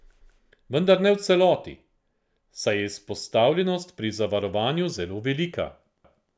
Vendar ne v celoti, saj je izpostavljenost pri zavarovanju zelo velika.